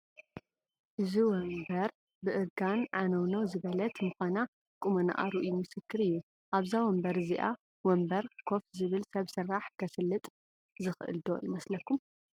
እዚ ወንበር ብእርጋን ዓነውነው ዝበለት ምዃና ቁመንኣ ርኡይ ምስክር እዩ፡፡ ኣብዛ ወንበር እዚአ ወንበር ኮፍ ዝብል ሰብ ስራሕ ከስልጥ ዝኽእል ዶ ይመስለኹም?